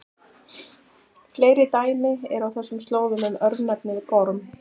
Fleiri dæmi eru á þessum slóðum um örnefnið Gorm.